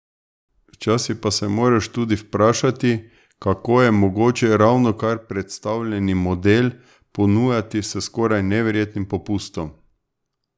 Včasih pa se moraš tudi vprašati, kako je mogoče ravnokar predstavljeni model ponujati s skoraj neverjetnim popustom?